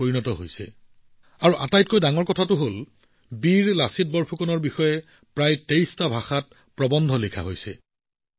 আৰু আটাইতকৈ ডাঙৰ কথা আৰু অতি সুখৰ বিষয় টো হল বীৰ লাচিত বৰফুকনৰ ওপৰত ৰাইজে লিখা আৰু প্ৰেৰণ কৰা এই প্ৰৱন্ধবোৰ প্ৰায় ২৩টা ভিন্ন ভাষাত লিখা হৈছে